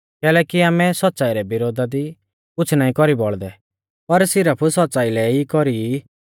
कैलैकि आमै सौच़्च़ाई रै विरोधा दी कुछ़ नाईं कौरी बौल़दै पर सिरफ सौच़्च़ाई लै ई कौरी ई